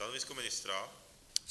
Stanovisko ministra?